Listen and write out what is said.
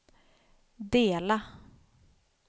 dela